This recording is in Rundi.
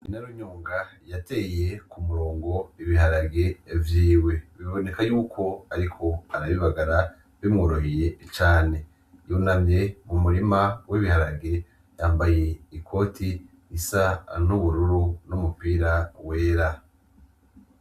Inarunyonga yateye ku murongo ibiharage vyiwe biboneka yuko ariko arabibagara bimworoheye cane, yunamye mu murima w’ibiharage yambaye ikoti isa n’ubururu n’umupira wera.